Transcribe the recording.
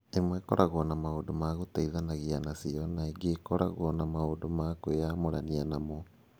Imwe ikoragwo na maũndũ ma gũteithanagia nacio ingĩ ikoragwo na maũndũ ma kwĩyamũrania namo.